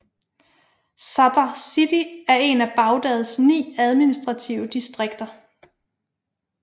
Sadr City er en af Baghdads ni administrative distrikter